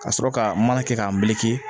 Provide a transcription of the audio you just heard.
Ka sɔrɔ ka mana kɛ k'a